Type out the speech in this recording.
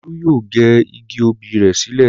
Olú yóò gé igi obì rẹ̀ sílẹ̀.